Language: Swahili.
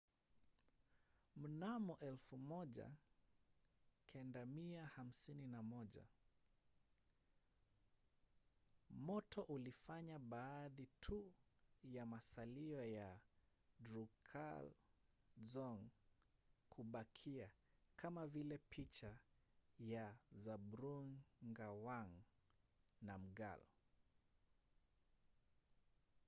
mnamo 1951 moto ulifanya baadhi tu ya masalio ya drukgyal dzong kubakia kama vile picha ya zhabdrung ngawang namgyal